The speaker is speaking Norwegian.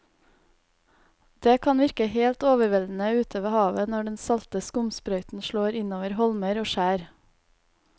Det kan virke helt overveldende ute ved havet når den salte skumsprøyten slår innover holmer og skjær.